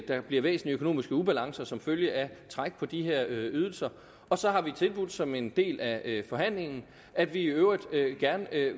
der bliver væsentlige økonomiske ubalancer som følge af træk på de her ydelser og så har vi tilbudt som en del af forhandlingen at vi i øvrigt gerne